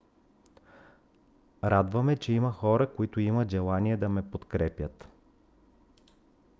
радва ме че има хора които имат желание да ме подкрепят